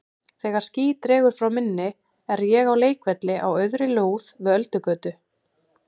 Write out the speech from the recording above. Þegar ský dregur frá minni er ég á leikvelli á auðri lóð við Öldugötu.